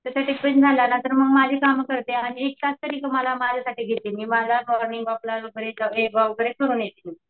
त्यांचा टिफिन झाला ना मग माझी कामे करते आणि तरी माझ्या माझ्या साठी घेते मी मला वगैरे करून येते.